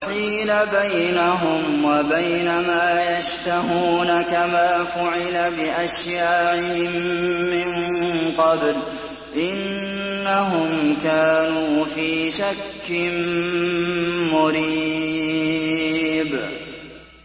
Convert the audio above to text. وَحِيلَ بَيْنَهُمْ وَبَيْنَ مَا يَشْتَهُونَ كَمَا فُعِلَ بِأَشْيَاعِهِم مِّن قَبْلُ ۚ إِنَّهُمْ كَانُوا فِي شَكٍّ مُّرِيبٍ